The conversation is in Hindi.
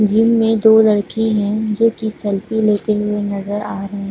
जिम में दो लड़की है जो की सेल्फी लेते हुए नज़र आ रहे है।